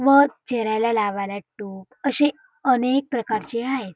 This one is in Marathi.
मध चेहऱ्याला लावा टोक असे अनेक प्रकारचे आहेत.